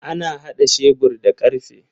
Ana hada shebur da karfe.